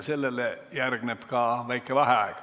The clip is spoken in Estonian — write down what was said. Sellele järgneb ka väike vaheaeg.